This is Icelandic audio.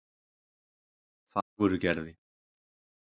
Fagurgerði